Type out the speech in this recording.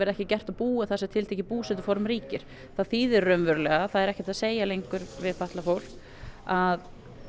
ekki gert að búa þar sem tiltekið búsetuform ríkir það þýðir raunverulega það er ekki lengur hægt að segja lengur við fatlað fólk að